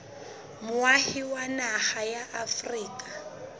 moahi wa naha ya afrika